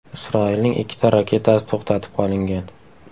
Isroilning ikkita raketasi to‘xtatib qolingan.